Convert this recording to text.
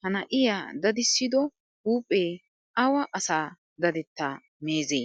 Ha na'iyaa dadisido huuphphpe awa asa dadetta meezze?